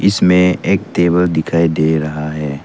इसमें एक टेबल दिखाई दे रहा है।